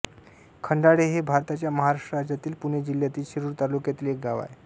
खंडाळे हे भारताच्या महाराष्ट्र राज्यातील पुणे जिल्ह्यातील शिरूर तालुक्यातील एक गाव आहे